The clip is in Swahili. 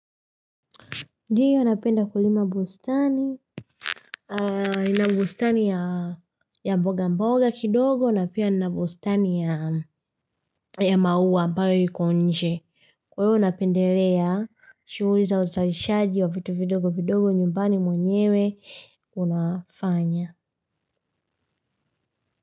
Ndio napenda kulima bustani. Nina bustani ya ya mboga mboga kidogo na pia nina bustani ya ya maua ambayo iko nje kwa hiyo napendelea. Shuguli za uzalishaji wa vitu vidogo vidogo nyumbani mwenyewe unafanya.